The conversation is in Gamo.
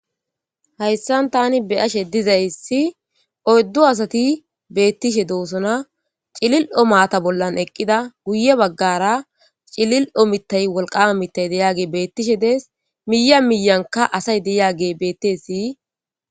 Hayssan tani beyashe dizayssi oyddu asati beettishe doosona cilil7o maata bollan eqqida guye baggara cilil7o mittay walqama mittay deyage beettishe dees miya miyanka asay deyage betti siyi.